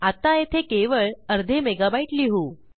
आत्ता येथे केवळ अर्धे मेगाबाईट लिहू